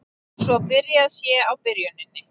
Svo byrjað sé á byrjuninni